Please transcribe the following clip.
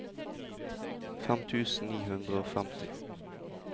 fem tusen ni hundre og femti